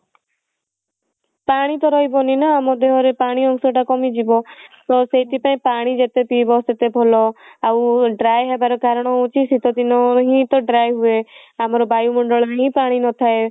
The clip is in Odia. ପାଣି ତ ରହିବନି ନା ଆମ ଦେହ ରେ ପାଣି ଅଂସ ଟା କମିଯିବ ତ ସେଇଥି ପାଇଁ ପାଣି ଯେତେ ପିଇବ ସେତେ ଭଲ ଆଉ dry ହେବା ର କାରଣ ହଉଛି ଶିତ ଦିନ ହିଁ ତ dry ହୁଏ ଆମର ବାୟୁ ମଣ୍ଡଳ ରେ ହିଁ ପାଣି ନଥାଏ